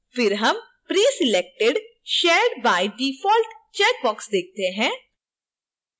फिर हम preselected searched by default checkbox देखते हैं